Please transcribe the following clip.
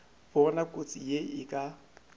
bona kotsi ye e ka